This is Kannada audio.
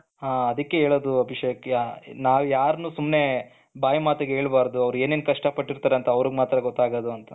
ಹ ಅದಕ್ಕೆ ಹೇಳೋದು ಅಭಿಷೇಕ್ ನಾವು ಯಾರನ್ನು ಸುಮ್ಮನೆ ಬಾಯಿ ಮಾತಿಗೆ ಹೇಳಬಾರದು, ಅವರೇನು ಕಷ್ಟಪಟ್ಟಿರ್ತಾರೆ ಅಂತ ಅವರಿಗೆ ಮಾತ್ರ ಗೊತ್ತಾಗೋದು ಅಂತ.